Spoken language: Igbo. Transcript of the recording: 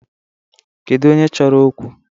Kedu onye chọrọ okwu?